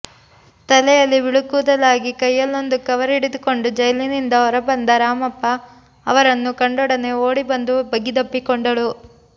ತಲೆಯಲ್ಲಿ ಬಿಳಿಕೂದಲಾಗಿ ಕೈಯಲ್ಲೊಂದು ಕವರ್ ಹಿಡಿದುಕೊಂಡು ಜೈಲಿನಿಂದ ಹೊರಬಂದ ರಾಮಪ್ಪ ಅವರನ್ನು ಕಂಡೊಡನೆ ಓಡಿ ಬಂದು ಬಿಗಿದಪ್ಪಿಕೊಂಡಳು